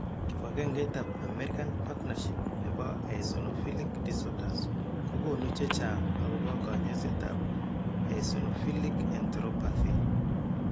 Kibagengeitab American Partnership nebo Eosinophilic Disorders ko konu chechang' akobo kanyoisetab Eosinophilic enteropathy.